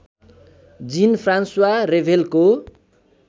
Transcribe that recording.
जिन फ्रान्स्वा रेभेलको